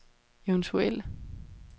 eventuel